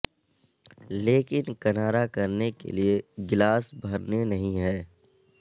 لیکن کنارا کرنے کے لئے گلاس بھرنے نہیں ہے